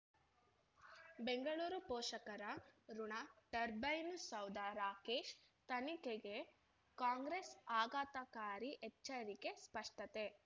ಬೆಂಗಳೂರು ಪೋಷಕರಋಣ ಟರ್ಬೈನು ಸೌಧ ರಾಕೇಶ್ ತನಿಖೆಗೆ ಕಾಂಗ್ರೆಸ್ ಆಘಾತಕಾರಿ ಎಚ್ಚರಿಕೆ ಸ್ಪಷ್ಟತೆ